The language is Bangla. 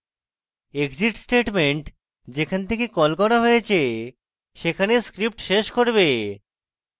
exit statement যেখান থেকে কল করা হয়েছে সেখানে script শেষ করবে